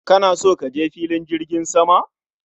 Kana so kaje fillin jirgin sama?